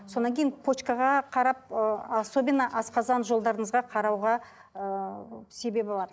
содан кейін почкаға қарап ы особенно асқазан жолдарыңызға қарауға ыыы себебі бар